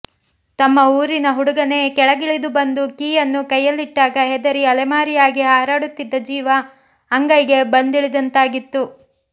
ತಮ್ಮ ಊರಿನ ಹುಡುಗನೇ ಕೆಳಗಿಳಿದು ಬಂದು ಕೀಯನ್ನು ಕೈಯ್ಯಲ್ಲಿಟ್ಟಾಗ ಹೆದರಿ ಅಲೆಮಾರಿಯಾಗಿ ಹಾರಾಡುತ್ತಿದ್ದ ಜೀವ ಅಂಗೈಗೆ ಬಂದಿಳಿದಂತಾಗಿತ್ತು